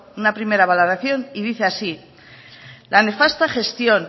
una primera valoración y dice así la nefasta gestión